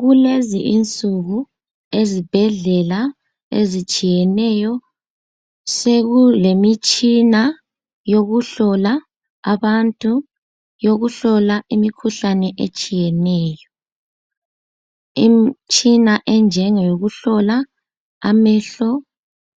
Kulezi insuku ezibhedlela ezitshiyeneyo sekulemitshina yokuhlola abantu, yokuhlola imikhuhlane etshiyeneyo. Imtshina enjengeyokuhlola amehlo